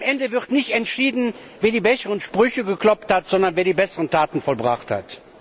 Am Ende wird nicht entschieden, wer die besseren Sprüche geklopft, sondern wer die besseren Taten vollbracht hat.